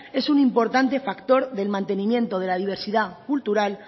es un importante factor del mantenimiento de la diversidad cultural